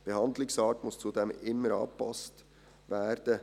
Die Behandlungsart muss zudem immer angepasst werden.